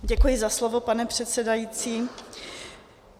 Děkuji za slovo, pane předsedající.